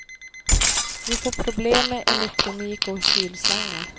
Vi får problem med elektronik och kylslangar.